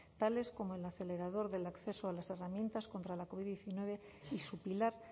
tales como el acelerador del acceso a las herramientas contra la covid diecinueve y su pilar